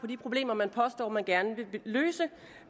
de problemer man påstår man gerne vil løse